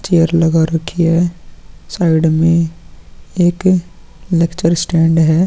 Chair लगा रखी है साइड में एक लेक्चर स्टैंड है।